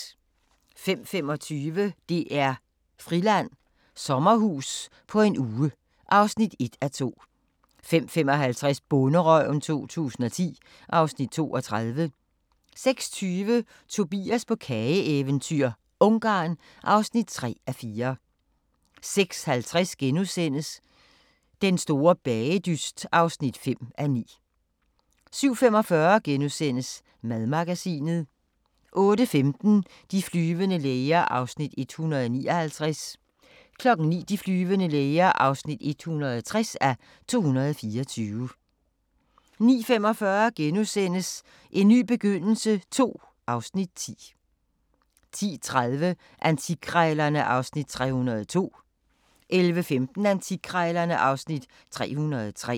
05:25: DR-Friland: Sommerhus på en uge (1:2) 05:55: Bonderøven 2010 (Afs. 32) 06:20: Tobias på kageeventyr – Ungarn (3:4) 06:50: Den store bagedyst (5:9)* 07:45: Madmagasinet * 08:15: De flyvende læger (159:224) 09:00: De flyvende læger (160:224) 09:45: En ny begyndelse II (Afs. 10)* 10:30: Antikkrejlerne (Afs. 302) 11:15: Antikkrejlerne (Afs. 303)